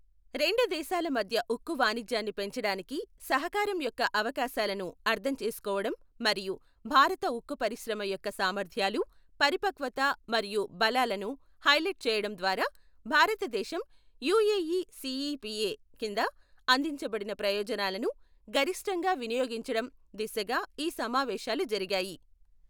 రెండు దేశాల మధ్య ఉక్కు వాణిజ్యాన్ని పెంచడానికి సహకారం యొక్క అవకాశాలను అర్థం చేసుకోవడం మరియు భారత ఉక్కు పరిశ్రమ యొక్క సామర్థ్యాలు, పరిపక్వత మరియు బలాలను హైలైట్ చేయడం ద్వారా భారతదేశం యుఏఈ సీఈపీఏ కింద అందించబడిన ప్రయోజనాలను గరిష్టంగా వినియోగించడం దిశగా ఈ సమావేశాలు జరిగాయి.